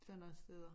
Sådan nogle steder